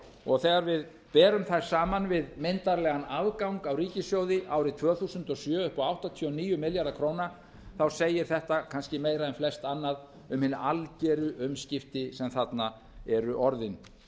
og þegar við berum þær saman við myndarlegan afgang af ríkissjóði árið tvö þúsund og sjö upp á áttatíu og níu milljarða króna segir þetta kannski eiga en flest annað um hin algeru umskipti sem þarna eru orðin